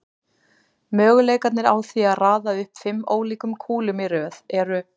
Möguleikarnir á því að raða upp fimm ólíkum kúlum í röð eru